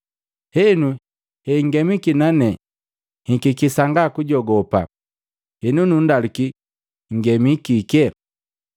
Henu, henngemiki nane nhikiki sanga kujogopa. Henu, nundaluki, nngemi kike?”